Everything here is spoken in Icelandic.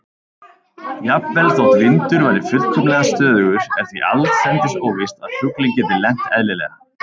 Jafnvel þótt vindur væri fullkomlega stöðugur er því allsendis óvíst að fuglinn geti lent eðlilega.